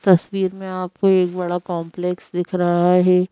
तस्वीर में आपको एक बड़ा कॉम्प्लेक्स दिख रहा है।